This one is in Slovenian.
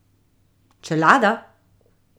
Čelada?